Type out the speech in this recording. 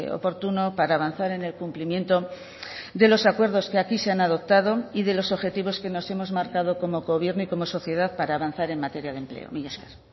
oportuno para avanzar en el cumplimiento de los acuerdos que aquí se han adoptado y de los objetivos que nos hemos marcado como gobierno y como sociedad para avanzar en materia de empleo mila esker